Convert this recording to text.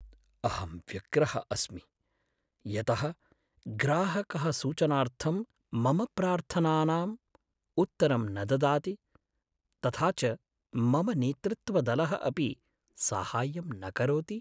अहं व्यग्रः अस्मि यतः ग्राहकः सूचनार्थं मम प्रार्थनानाम् उत्तरं न ददाति, तथा च मम नेतृत्वदलः अपि साहाय्यं न करोति।